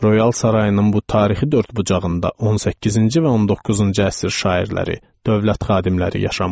Royal sarayının bu tarixi dördbucağında 18-ci və 19-cu əsr şairləri, dövlət xadimləri yaşamışdılar.